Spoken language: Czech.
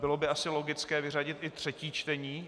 Bylo by asi logické vyřadit i třetí čtení.